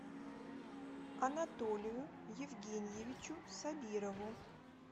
анатолию евгеньевичу сабирову